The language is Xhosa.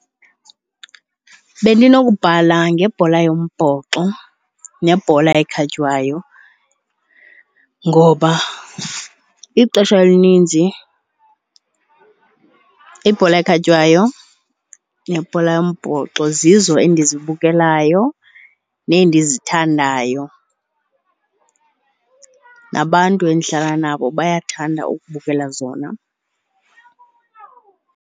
Bendinokubhala ngebhola yombhoxo nebhola ekhatywayo ngoba ixesha elininzi ibhola ekhatywayo nebhola yombhoxo zizo endizibukelayo nendizithandayo. Nabantu endihlala nabo bayathanda ubukela zona.